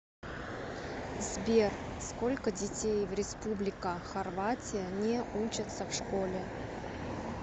сбер сколько детей в республика хорватия не учатся в школе